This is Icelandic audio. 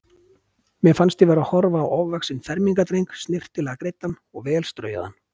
Mér fannst ég vera að horfa á ofvaxinn fermingardreng, snyrtilega greiddan og vel straujaðan.